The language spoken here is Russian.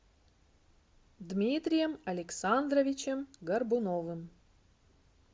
дмитрием александровичем горбуновым